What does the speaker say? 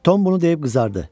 Tom bunu deyib qızardı.